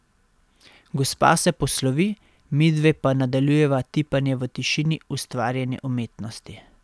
Gospa se poslovi, midve pa nadaljujeva tipanje v tišini ustvarjene umetnosti.